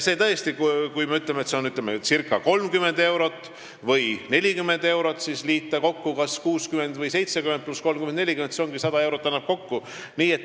Tõesti, kui me ütleme, et indekseerimine on 30 või 40 eurot ning kui liita kas 60 või 70 ja 30 või 40, siis see annabki kokku 100 eurot.